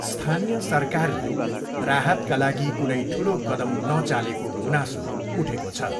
स्थानीय सरकारले राहतका लागि कुनै ठुलो कदम नचालेको गुनासो उठेको छ।